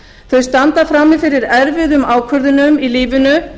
þau standa frammi fyrir erfiðum ákvörðunum í lífinu